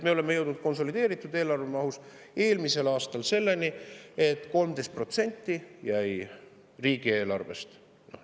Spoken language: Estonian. Me jõudsime konsolideeritud eelarve mahus eelmisel aastal selleni, et 13% jäi riigieelarve rahast kasutamata.